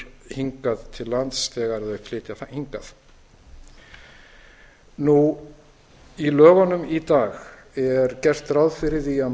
hingað til lands þegar þeir flytja hingað í lögunum í dag er gert ráð fyrir því að